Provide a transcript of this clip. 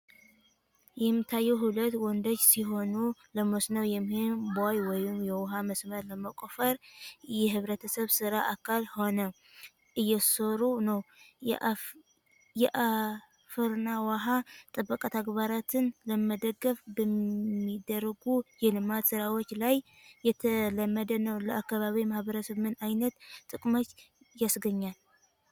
የሚታዩት ሁለት ወንዶች ሲሆኑ፣ ለመስኖ የሚሆን ቦይ ወይም የውሃ መስመር ለመቆፈር የኅብረተሰብ ሥራ አካል ሆነው እየሰሩ ነው። የአፈርና ውሃ ጥበቃ ተግባራትን ለመደገፍ በሚደረጉ የልማት ሥራዎች ላይ የተለመደ ነው። ለአካባቢው ማኅበረሰብ ምን ዓይነት ጥቅሞችን ያስገኛል?